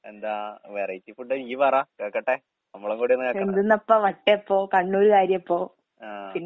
എന്താ വെറൈറ്റി ഫുഡിയ്യ് പറ കേക്കട്ടെ. നമ്മളും കൂടിയൊന്ന് കേക്കെ പറ. ആഹ്.